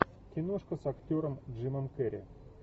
киношка с актером джимом керри